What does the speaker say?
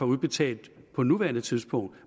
udbetales på nuværende tidspunkt